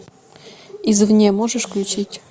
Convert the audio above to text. из вне можешь включить